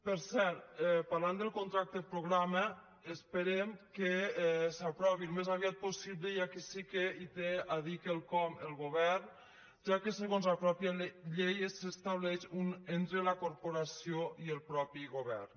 per cert parlant del contracte programa esperem que s’aprovi al més aviat possible i aquí sí que hi té a dir quelcom el govern ja que segons la mateixa llei s’estableix entre la corporació i el mateix govern